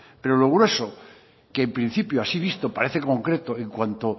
pero lo grueso que en principio así visto parece concreto en cuanto